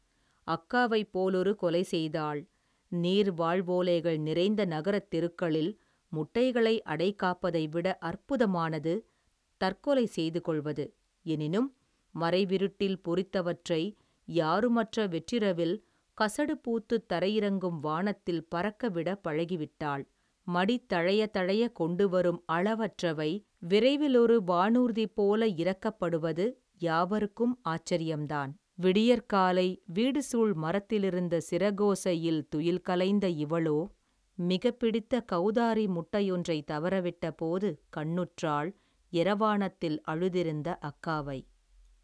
அக்காவைப் போலொரு கொலை செய்தாள் நீர் வாழ்வோலைகள் நிறைந்த நகரத் தெருக்களில் முட்டைகளை அடைக்காப்பதை விட அற்புதமானது தற்கொலை செய்து கொள்வது எனினும் மறைவிருட்டில் பொறித்தவற்றை யாருமற்ற வெற்றிரவில் கசடுபூத்துத் தரையிறங்கும் வானத்தில் பறக்க விட பழகிவிட்டாள் மடித்தழைய தழைய கொண்டுவரும் அளவற்றவை விரைவிலொரு வானூர்திபோல் இறக்கப்படுவது யாவர்க்கும் ஆச்சர்யம்தான் விடியற்காலை வீடுசூழ் மரத்திலிருந்த சிறகோசையில் துயில்களைந்த இவளோ மிகப்பிடித்த கௌதாரி முட்டையொன்றைத் தவறவிட்டபோது கண்ணுற்றாள் எரவாணத்தில் அழுதிருந்த அக்காவை.